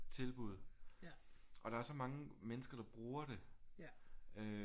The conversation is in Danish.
Tilbud og der er så mange mennesker der bruger det øh